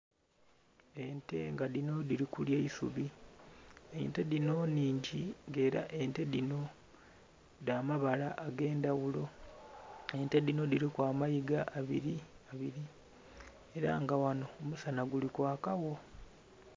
Ente nga dhiri kulya eisubi, ente dhino nnhingi nga era ente dhino dhamabala agendhaghulo, ente dhino dhiriku amayiga abiri abiri era nga ghano omusana gulikwaka gho.